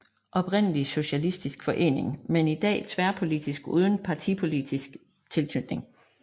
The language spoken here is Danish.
Oprindelig socialistisk forening men i dag tværpolitisk uden partipolitisk tilknytning